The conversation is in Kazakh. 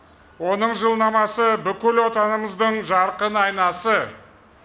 оның жылнамасы бүкіл отанымыздың жарқын айнасы